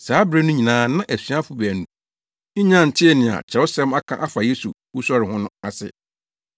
Saa bere no nyinaa na asuafo baanu yi nnya ntee nea Kyerɛwsɛm aka afa Yesu wusɔre ho no ase.